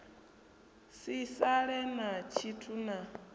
si sale na tshithu na